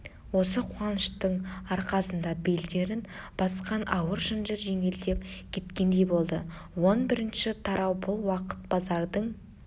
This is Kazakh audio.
осы қуаныштың арқасында белдерін басқан ауыр шынжыр жеңілдеп кеткендей болды он бірінші тарау бұл уақыт базардың